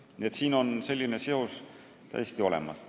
Nii et siin on selline seos täiesti olemas.